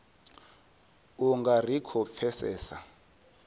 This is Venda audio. u nga ri khou pfesesa